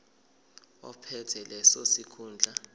ophethe leso sikhundla